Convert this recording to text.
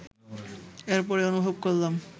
এরপরই অনুভব করলাম